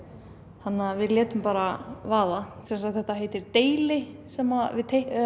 þannig að við létum bara vaða þetta heitir deili sem við